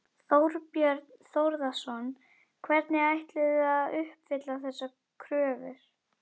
Þorbjörn Þórðarson: Hvernig ætlið þið að að uppfylla þessar kröfur?